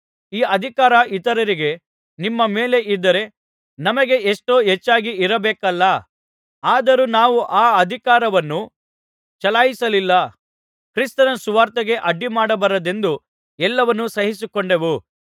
ಈ ಅಧಿಕಾರ ಇತರರಿಗೆ ನಿಮ್ಮ ಮೇಲೆ ಇದ್ದರೆ ನಮಗೆ ಎಷ್ಟೋ ಹೆಚ್ಚಾಗಿ ಇರಬೇಕಲ್ಲಾ ಆದರೂ ನಾವು ಆ ಅಧಿಕಾರವನ್ನು ಚಲಾಯಿಸಲಿಲ್ಲ ಕ್ರಿಸ್ತನ ಸುವಾರ್ತೆಗೆ ಅಡ್ಡಿಮಾಡಬಾರದೆಂದು ಎಲ್ಲವನ್ನು ಸಹಿಸಿಕೊಂಡೆವು